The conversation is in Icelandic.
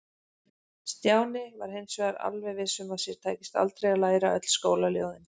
Stjáni var hins vegar alveg viss um að sér tækist aldrei að læra öll skólaljóðin.